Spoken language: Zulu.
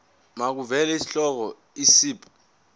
makuvele isihloko isib